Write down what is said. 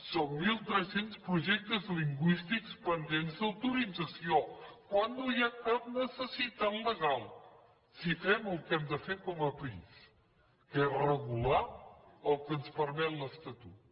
són mil tres cents projectes lingüístics pendents d’autorització quan no n’hi ha cap necessitat legal si fem el que hem de fer com a país que és regular el que ens permet l’estatut